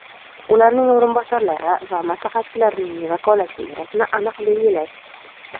ularning o‘rinbosarlari va maslahatchilarining vakolat chegarasini aniq belgilash.